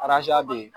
be yen